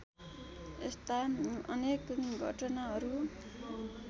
यस्ता अनेक घटनाहरू